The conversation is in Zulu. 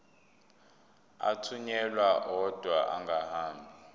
athunyelwa odwa angahambi